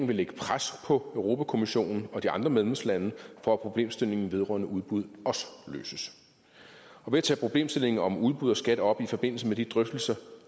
vil lægge pres på europa kommissionen og de andre medlemslande for at problemstillingen vedrørende udbud også løses og ved at tage problemstillingen om udbud og skat op i forbindelse med de drøftelser